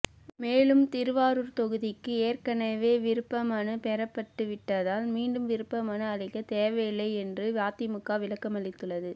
மேலும் திருவாரூர் தொகுதிக்கு ஏற்கெனவே விருப்ப மனு பெறப்பட்டுவிட்டதால் மீண்டும் விருப்ப மனு அளிக்க தேவையில்லை என்று அதிமுக விளக்கமளித்துள்ளது